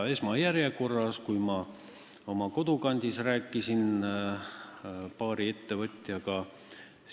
Ma oma kodukandis rääkisin paari ettevõtjaga.